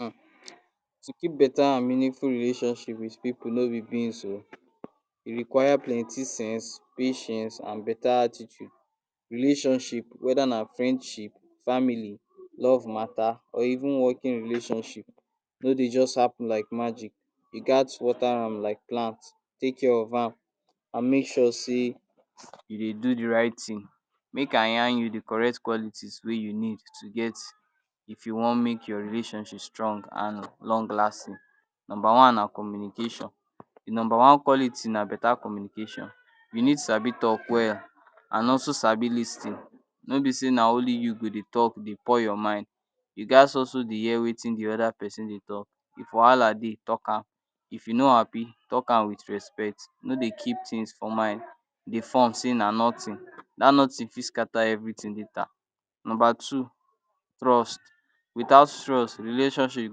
um To keep a better and meaningful relationship with pipu no be beans oh. E require plenty sense, patience and better attitude. Relationships, whether na friendship, family, love matter or even working relationships no dey just happen like magic. You gat water am like plant. Take care of am and make sure sey, you dey do the right thing. Make i yarn you the correct qualities wey you need to get, if you want make your relationship strong and long-lasting. Number one na communication. The number one quality na better communication. You need sabi talk well and also sabi lis ten. No be sey na only you go dey talk, dey pour your mind. You gat also dey hear wetin the other pesin dey talk. If wahala dey, talk am. If you no happy, talk am with respect. No dey keep things for mind, dey form sey na nothing. Dat nothing fit scatter everything later. Number two, trust. Without trust, relationship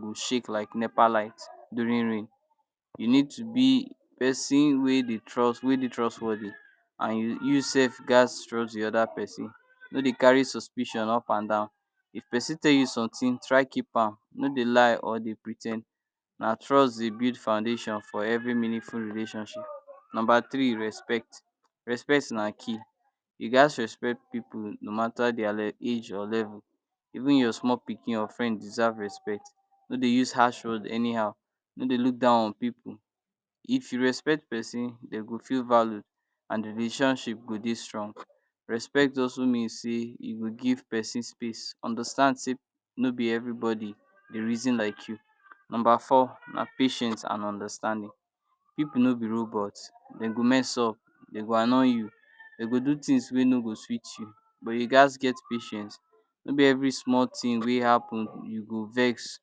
go shake like NEPA light during rain. You need to be pesin wey dey trust, wey dey trustworthy and you youself gat trust the other pesin. No dey carry suspicion up and down. If pesin tell you something, try keep am. No dey lie or dey pre ten d. Na trust dey build foundation for every meaningful relationship. Number three, respect. Respect na key. You gat respect pipu no matter their age or level. Even your small pikin or friend deserve respect. No dey use harsh word anyhow. No dey look down on pipu. If you respect pesin, de go feel value and the relationship go dey strong. Respect also means sey, e go pesin space. Understand sey no be everybody dey reason like you. Number four na patience and understanding. Pipu no be robot. They go mess up. They go annoy you. They go do things wey no go sweet you. But you gat get patience. No be every small thing wey happen, you go vex,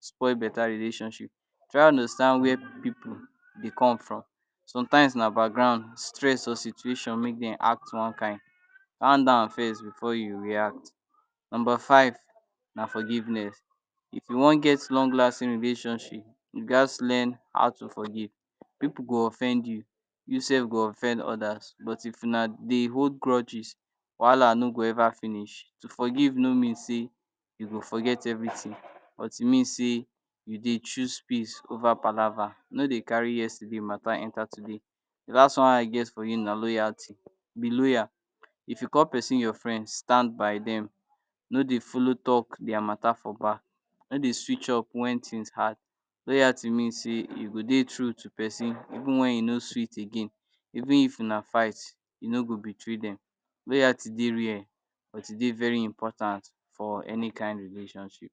spoil better relationship. Try understand were pipu dey come from. Sometimes na background, stress or situation make dem act one kind. Calm down first before you react. Number five na forgiveness. If you wan get long lasting relationship, you gat learn how to forgive. Pipu go offend you. You self go offend others. But if una dey hold grudges, wahala no go ever finish. To forgive no mean sey, you go forget everything. But e means sey, you dey choose peace over palaver. No dey carry yesterday matter enter today. The last one wey I get for you na loyalty. Be loyal. If you call pesin your friends, stand by dem. No dey follow talk their matter for back. No dey switch off wen things hard. Loyalty means sey, you go dey true to pesin even wen e no sweet again. Even if na fight, you no go betray dem. Loyalty dey real becos e dey very important for any kind relationship